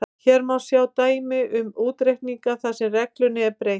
Hér má svo sjá dæmi um útreikninga þar sem reglunni er beitt: